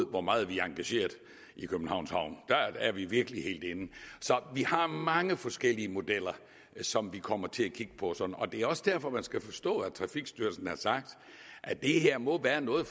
hvor meget vi er engageret i københavns havn der er vi virkelig helt inde så vi har mange forskellige modeller som vi kommer til at kigge på og det er også derfor skal man forstå at trafikstyrelsen har sagt at det her må være noget